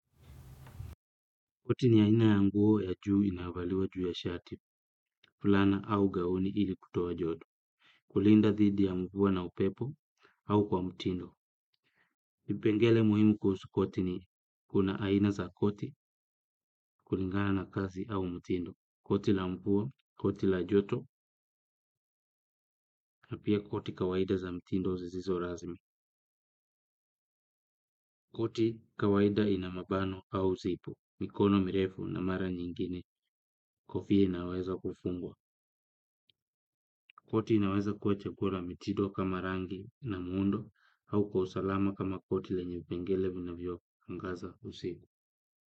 Koti ni aina ya nguo ya juu inayovaliwa juu ya shati, fulana au gauni ili kutoa joto, kulinda thidi ya nguo na upepo au kwa mutindo. Vipengele muhimu kusu koti ni kuna aina za koti, kulingana na kazi au mutindo, koti la nguo, koti la joto, na pia koti kawaida za mutindo zisizo razmi. Koti kawaida ina mabano au zipu mikono mirefu na mara nyingine kofia inaweza kufungwa koti inaweza kua chakula mitindo kama rangi na miundo au kwa usalama kama koti lenye vipengele vina vio angaza usi.